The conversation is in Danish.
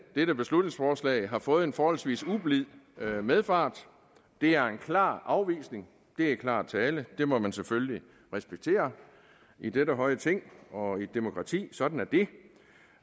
dette beslutningsforslag har fået en forholdsvis ublid medfart det er en klar afvisning det er klar tale det må man selvfølgelig respektere i dette høje ting og i et demokrati sådan